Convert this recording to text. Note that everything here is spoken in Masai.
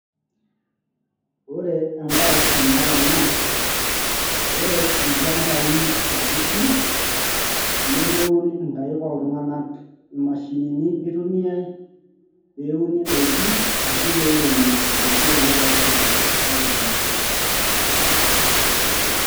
ore empaash naata naa ore ilchambai sapuki nemeun inkaik oltung`anak imashinini itumiae pee euni indaiki ashu pee eiremi indaiki telelo shambai sapuki.